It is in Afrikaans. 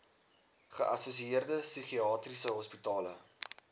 geassosieerde psigiatriese hospitale